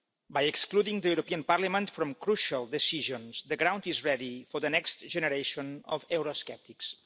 By excluding the European Parliament from crucial decisions, the ground is ready for the next generation of eurosceptics.